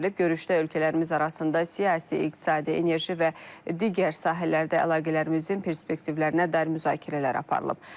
Görüşdə ölkələrimiz arasında siyasi, iqtisadi, enerji və digər sahələrdə əlaqələrimizin perspektivlərinə dair müzakirələr aparılıb.